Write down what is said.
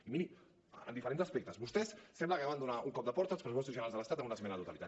i miri en diferents aspectes vostès sembla que acaben de donar un cop de porta als pressupostos generals de l’estat amb una esmena a la totalitat